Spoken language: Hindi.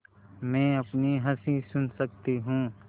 मैं अपनी हँसी सुन सकती हूँ